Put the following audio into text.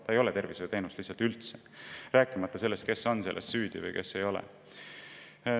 See ei ole tervishoiuteenus, sellest, kes on selles süüdi või kes ei ole.